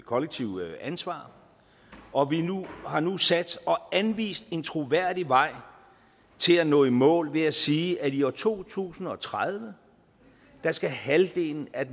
kollektive ansvar og vi har nu sat og anvist en troværdig vej til at nå i mål ved at sige at i år to tusind og tredive skal halvdelen af